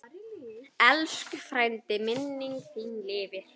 Elsku frændi, minning þín lifir.